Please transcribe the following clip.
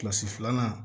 Kilasi filanan